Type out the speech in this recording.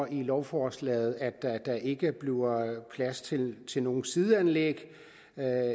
i lovforslaget står at der ikke bliver plads til til nogen sideanlæg